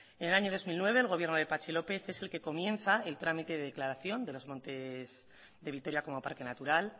en el año dos mil nueve el gobierno de patxi lópez es el que comienza el trámite de declaración de los montes de vitoria como parque natural